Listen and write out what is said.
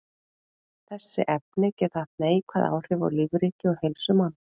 Þessi efni geta haft neikvæð áhrif á lífríki og heilsu manna.